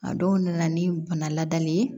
A dɔw nana ni bana ladamuli ye